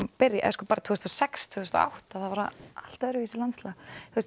byrja tvö þúsund og sex til tvö þúsund og átta þá var allt öðruvísi landslag